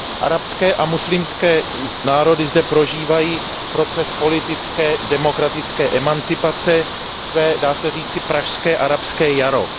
Arabské a muslimské národy zde prožívají proces politické demokratické emancipace, své dá se říci Pražské arabské jaro.